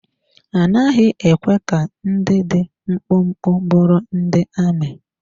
A naghị ekwe ka ndị dị mkpụmkpụ bụrụ ndị amị.